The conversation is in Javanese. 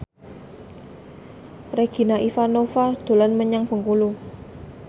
Regina Ivanova dolan menyang Bengkulu